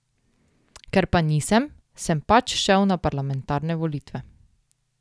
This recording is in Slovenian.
Ker pa nisem, sem pač šel na parlamentarne volitve.